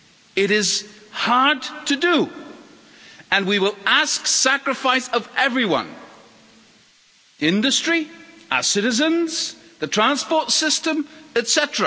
It is hard to do, and we will ask sacrifice of everyone industry, our citizens, the transport system, etc.